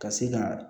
Ka se ka